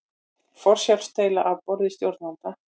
Forsjárdeila á borði stjórnvalda